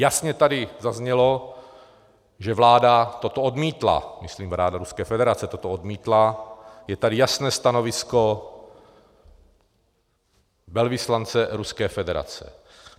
Jasně tady zaznělo, že vláda toto odmítla, myslím vláda Ruské federace toto odmítla, je tady jasné stanovisko velvyslance Ruské federace.